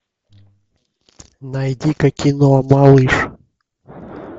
найди ка кино малыш